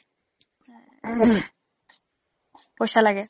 পইচা লাগে